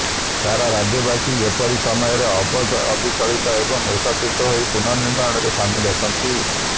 ସାରା ରାଜ୍ୟବାସୀ ଏପରି ସମୟରେ ଅବିଚଳିତ ଓ ଏକତ୍ରିତ ହୋଇ ପୁନଃନିର୍ମାଣରେ ସାମିଲ ଅଛନ୍ତି